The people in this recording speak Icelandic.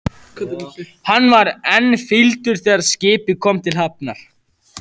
Hann var enn fýldur þegar skipið kom til hafnar.